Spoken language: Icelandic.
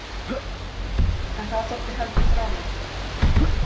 En það þótti heldur fráleitt.